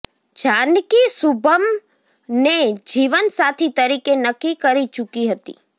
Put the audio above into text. જાનકી શુભમ્ ને જીવનસાથી તરીકે નક્કી કરી ચૂકી હતી